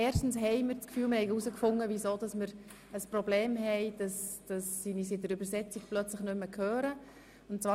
Erstens denken wir, dass wir herausgefunden haben, wie es zu dem technischen Problem kam, welches dazu führte, dass uns die Übersetzerinnen nicht mehr hören konnten.